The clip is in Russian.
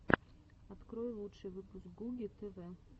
открой лучший выпуск гуги тв